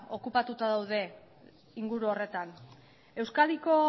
okupatuta daude inguru horretan euskadiko